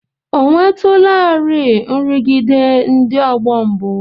Ò nwetụlarị nrụgide ndị ọgbọ mbụ?